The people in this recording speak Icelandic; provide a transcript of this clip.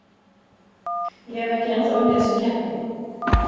Ég hef ekki ennþá unnið þessa keppni.